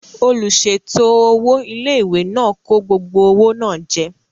Olùsèètò owó ilé-ìwé náà kó gbogbo owó náà jẹ